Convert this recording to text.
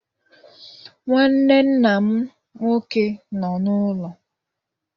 Nnwanne nna m nnwoke nọ n'ụlọ.